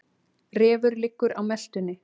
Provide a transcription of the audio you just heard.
Refur liggur á meltunni.